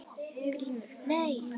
GRÍMUR: Nei!